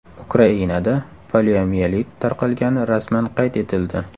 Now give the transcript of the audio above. Ukrainada poliomiyelit tarqalgani rasman qayd etildi.